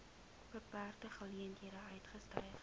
beperkte geleenthede uitgestyg